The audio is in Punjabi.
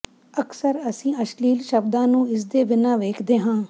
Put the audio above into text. ਅਕਸਰ ਅਸੀਂ ਅਸ਼ਲੀਲ ਸ਼ਬਦਾਂ ਨੂੰ ਇਸਦੇ ਬਿਨਾਂ ਵੇਖਦੇ ਹਾਂ